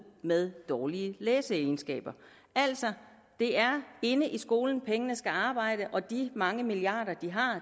med dårlige læsekundskaber altså det er inde i skolen pengene skal arbejde og med de mange milliarder de har